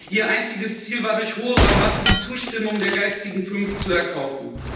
Ihr einziges Ziel war, durch hohe Rabatte die Zustimmung der geizigen fünf zu erkaufen.